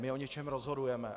My o něčem rozhodujeme.